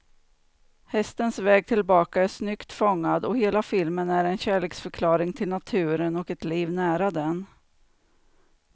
Hästens väg tillbaka är snyggt fångad, och hela filmen är en kärleksförklaring till naturen och ett liv nära den.